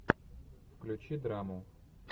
включи драму